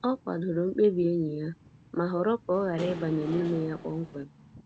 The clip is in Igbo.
Ọ kwadoro mkpebi enyi ya, ma họrọ ka ọ ghara ịbanye n’ime ya kpọmkwem.